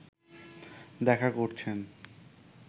দেখা করছেন